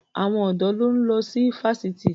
Àwọn ọ̀dọ́ ló ń lọ sí fásitì.